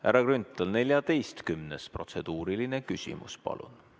Härra Grünthal, 14. protseduuriline küsimus, palun!